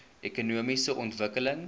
ekonomiese ontwikkeling